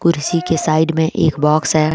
किसी के साइड में एक बॉक्स है ।